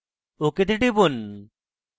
ok তে টিপুন